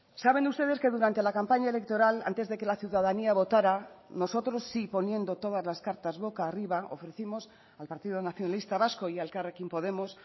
saben ustedes que durante la campaña electoral antes de que la ciudadanía votara nosotros sí poniendo todas las cartas boca arriba ofrecimos al partido nacionalista vasco y a elkarrekin podemos